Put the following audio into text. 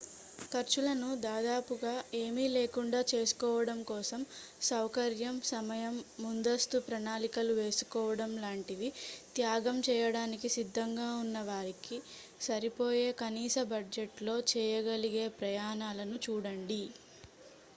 ఖర్చులను దాదాపుగా ఏమీ లేకుండా చేసుకోవడం కోసం సౌకర్యం సమయం ముందస్తు ప్రణాళికలు వేసుకోవడం లాంటివి త్యాగం చేయడానికి సిద్ధంగా ఉన్న వారికి సరిపోయే కనీస బడ్జెట్లో చేయగలిగే ప్రయాణాలను చూడండి